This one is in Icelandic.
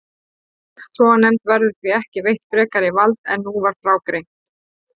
Fulltrúanefnd verður því ekki veitt frekara vald en nú var frá greint.